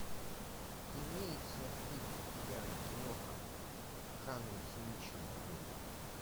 имеется ли у тебя киноха в жанре циничная комедия